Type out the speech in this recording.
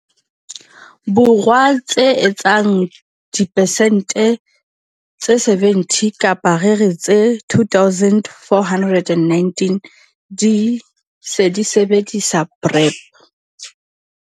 Borwa tse etsang persente tse 70 kapa re re tse 2 419 di se di sebedisa PrEP.